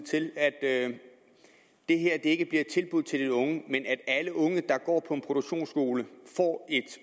at det her ikke bliver et tilbud til de unge men at alle unge der går på en produktionsskole får et